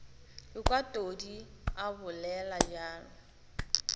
ekwa todi a bolela bjalo